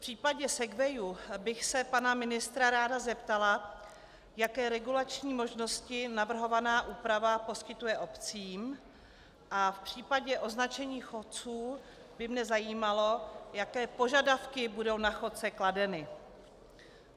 V případě segwayů bych se pana ministra ráda zeptala, jaké regulační možnosti navrhovaná úprava poskytuje obcím, a v případě označení chodců by mě zajímalo, jaké požadavky budou na chodce kladeny.